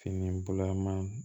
Fini bulaman